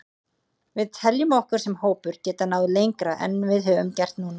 Við teljum okkur sem hópur geta náð lengra en við höfum gert núna.